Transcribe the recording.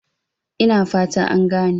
Ina fata an gane?